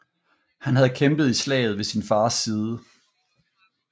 Han havde kæmpet i slaget ved sin fars side